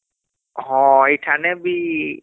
ହଁ ଇଠାନେ ବି